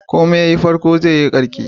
Komai yayi farko zai yi karshe.